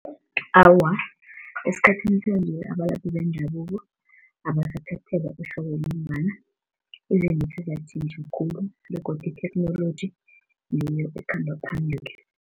Awa, esikhathini sanje abalaphi bendabuko abasathathelwa ehloko ngombana izinto sezatjhintjha khulu begodu itheknoloji ngiyo ekhamba phambili.